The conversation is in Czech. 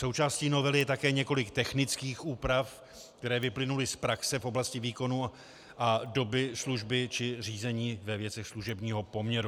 Součástí novely je také několik technických úprav, které vyplynuly z praxe, v oblasti výkonu a doby služby či řízení ve věcech služebního poměru.